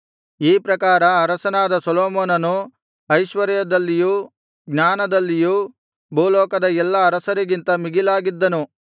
ಈ ಪ್ರಕಾರ ಅರಸನಾದ ಸೊಲೊಮೋನನು ಐಶ್ವರ್ಯದಲ್ಲಿಯೂ ಜ್ಞಾನದಲ್ಲಿಯೂ ಭೂಲೋಕದ ಎಲ್ಲಾ ಅರಸರಿಗಿಂತ ಮಿಗಿಲಾಗಿದ್ದನು